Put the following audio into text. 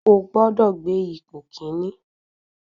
Ó gbọ́dọ̀ gbé ipò kíní.